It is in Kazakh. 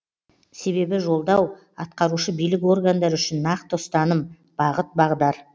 себебі жолдау атқарушы билік органдары үшін нақты ұстаным бағыт бағдар